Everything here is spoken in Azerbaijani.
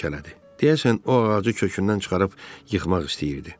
Deyəsən, o ağacı kökündən çıxarıb yıxmaq istəyirdi.